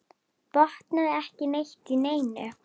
Botnaði ekki neitt í neinu.